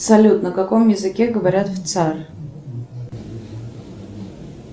салют на каком языке говорят в цар